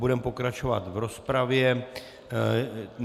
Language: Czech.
Budeme pokračovat v rozpravě.